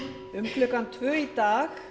um klukkan tvö í dag